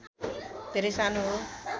धेरै सानो हो